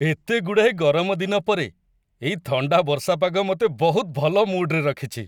ଏତେ ଗୁଡ଼ାଏ ଗରମ ଦିନ ପରେ, ଏଇ ଥଣ୍ଡା ବର୍ଷା ପାଗ ମୋତେ ବହୁତ ଭଲ ମୁଡ୍‌ରେ ରଖିଛି।